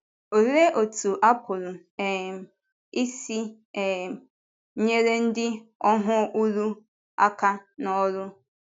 Òlee otú a pụrụ um isi um nyere ndị ọhụụ̀rò aka n’ọ́rụ?